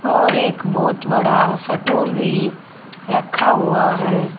और एक बहोत बड़ा सा टोल भी रखा हुआ है।